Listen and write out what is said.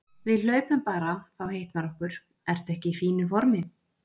Við hlaupum bara, þá hitnar okkur. ertu ekki í fínu formi?